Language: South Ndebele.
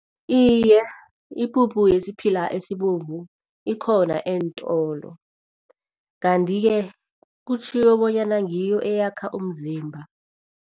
Iye, ipuphu yesiphila esibovu ikhona eentolo kanti-ke kutjhiwo bonyana ngiyo eyakha umzimba.